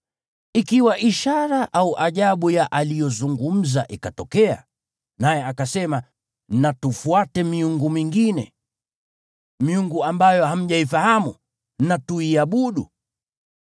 ikiwa ishara au ajabu ya aliyozungumza ikatokea, naye akasema, “Na tufuate miungu mingine” (miungu ambayo hamjaifahamu) “na tuiabudu,”